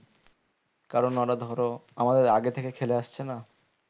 কারণ ওরা ধরো আমাদের আগে থেকে খেলে আসছে না